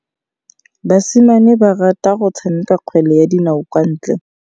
Basimane ba rata go tshameka kgwele ya dinaô kwa ntle.